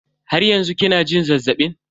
Har yanzu kina jin zazzabin?